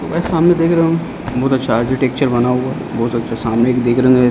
और सामने दिख रहा है बहुत अच्छा आरकीटेकचर बना हुआ बहुत अच्छा सामने--